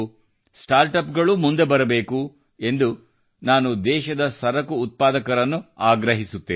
startup ಗಳೂ ಮುಂದೆ ಬರಬೇಕು ಎಂದು ನಾನು ದೇಶದ ಸರಕು ಉತ್ಪಾದಕರನ್ನು ಆಗ್ರಹಿಸುತ್ತೇನೆ